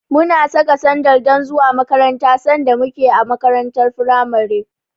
Muna saka sandal don zuwa makaranta sanda muke a makarantar firamare.